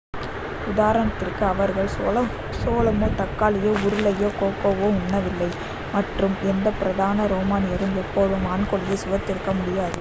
உதாரணத்திற்கு அவர்கள் சோளமோ தக்காளியோ உருளையோ கோக்கோவோ உண்ணவில்லை மற்றும் எந்த புராதன ரோமானியரும் எப்போதுமே வான்கோழியை சுவைத்திருக்க முடியாது